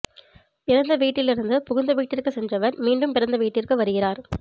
பிறந்த வீட்டில் இருந்து புகுந்த வீட்டிற்கு சென்றவர் மீண்டும் பிறந்த வீட்டிற்கு வருகிறார்